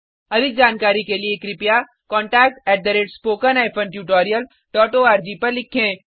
अधिक जानकारी के लिए contact spoken hyphen tutorial dot org पर लिखें